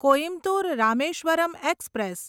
Coimbatore Rameswaram express